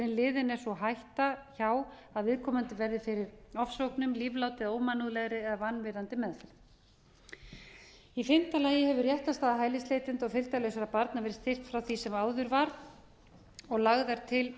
hætta er liðin hjá að viðkomandi verði fyrir ofsóknum lífláti eða ómannúðlegri eða vanvirðandi meðferð í fimmta lagi hefur réttarstaða hælisleitenda og fylgdarlausra barna verið sinnt frá því sem áður var og lagðar til